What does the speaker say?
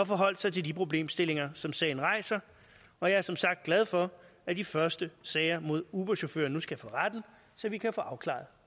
forholdt sig til de problemstillinger som sagen rejser og jeg er som sagt glad for at de første sager mod uberchauffører nu skal for retten så vi kan få afklaret